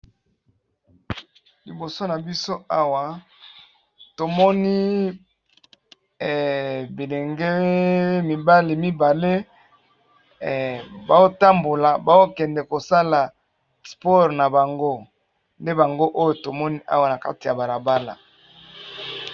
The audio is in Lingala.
Liboso na biso awa tomoni bilenge mibale mibale, bazotambola, bazokende kosala sport na bango nde bango oyo tomoni awa na kati ya balabala .